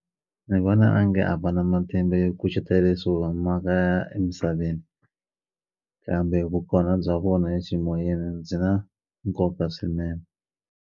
Ni vona onge a va na matimba yo kucetela leswi humaka ya emisaveni kambe vukona bya vona eximoyeni byi na nkoka swinene.